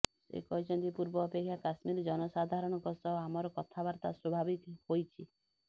ସେ କହିଛନ୍ତି ପୂର୍ବ ଅପେକ୍ଷା କାଶ୍ମୀର ଜନସାଧାରଣଙ୍କ ସହ ଆମର କଥାବାର୍ତା ସ୍ବାଭାବିକ ହୋଇଛି